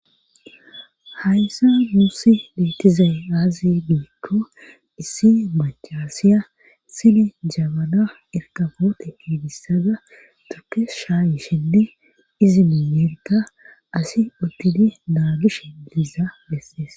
Hayssa muusi leettizay aazi biikko issi machaasiya sini jabana erkafoote kiidissada tukes shaayishinne izi miinyeerka asi uttidi naagishe liiza lessees